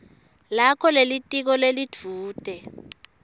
lakho lelitiko lelidvute